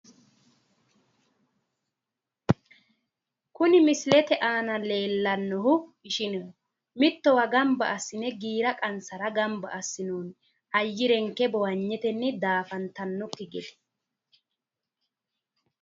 kuni misilete aana leellannohu ishineho mittowa giira qansara ganba assinoonni ayyirenke bowanyetenni daafantaakki gede.